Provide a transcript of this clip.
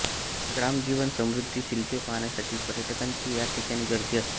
ग्रामजीवन समृद्धी शिल्पे पाहण्यासाठी पर्यटकांची याठिकाणी गर्दी असते